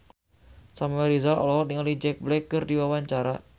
Samuel Rizal olohok ningali Jack Black keur diwawancara